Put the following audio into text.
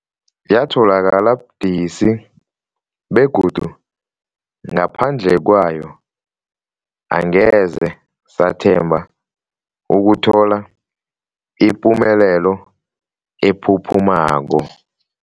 Yatholakala budisi, begodu ngaphandle kwayo angeze sathemba ukuthola ipumelelo ephuphumako.